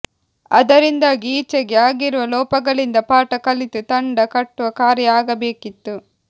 ಅದರಿಂದಾಗಿ ಈಚೆಗೆ ಆಗಿರುವ ಲೋಪಗಳಿಂದ ಪಾಠ ಕಲಿತು ತಂಡ ಕಟ್ಟುವ ಕಾರ್ಯ ಆಗಬೇಕಿತ್ತು